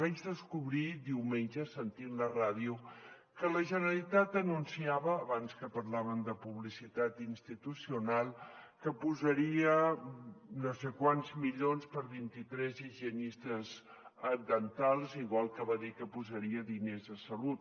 vaig descobrir diumenge sentint la ràdio que la generalitat anunciava abans que parlàvem de publicitat institucional que posaria no sé quants milions per a vint i tres higienistes dentals igual que va dir que posaria diners a salut